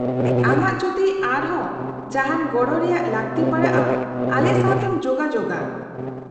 - ᱟᱢᱟᱜ ᱡᱩᱫᱤ ᱟᱨᱦᱚᱸ ᱡᱟᱦᱟᱱ ᱜᱚᱲᱚ ᱨᱮᱭᱟᱜ ᱞᱟᱹᱠᱛᱤ ᱯᱟᱲᱟᱜᱼᱟ , ᱟᱞᱮ ᱥᱟᱶ ᱛᱮᱢ ᱡᱳᱜᱟᱡᱳᱜᱼᱟ ᱾